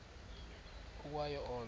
ukwa yo olo